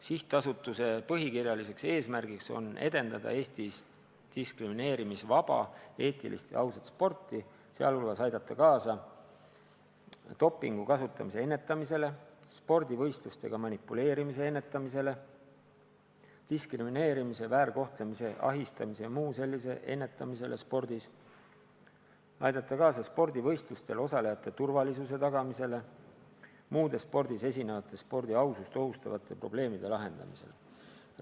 Sihtasutuse põhikirjaline eesmärk on edendada Eestis diskrimineerimisvaba, eetilist ja ausat sporti, sh aidata kaasa dopingu kasutamise ja spordivõistlustega manipuleerimise ennetamisele, samuti diskrimineerimise, väärkohtlemise, ahistamise jms ennetamisele spordis, aidata kaasa spordivõistlustel osalejate turvalisuse tagamisele ning muude spordis esinevate spordi ausust ohustavate probleemide lahendamisele.